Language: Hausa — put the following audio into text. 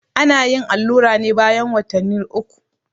ana yin allura ne bayan watanni ukul